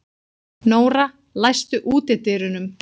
Nóra, læstu útidyrunum.